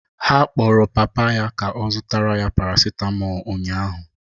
Ha kpọrọ papa ya ka ọ zụtara ya paracetmol ụnyahụ